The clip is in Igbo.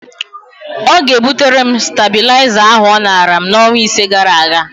Ọ ga-ebutere m stabịlaịza ahụ ọ nara m n'ọnwa ise gara aga.